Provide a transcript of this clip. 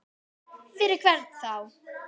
Fyrir hvern þá?